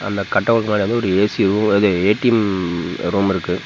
அந்த கட்அவுட் மேல வந்து ஒரு ஏ_சி அது ஏ_டி_எம் ரூமிருக்கு.